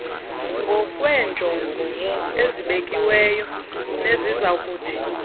ngokweenjongo ezibekiweyo nezizakuthi